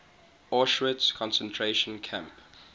auschwitz concentration camp